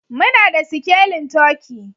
Muna da sikelin turkey